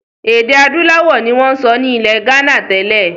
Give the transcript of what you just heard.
Èdè adúláwọ̀ ni wọn ń sọ nilẹ gánà tẹ́lẹ̀.